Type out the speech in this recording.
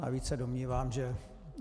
Navíc se domnívám, že -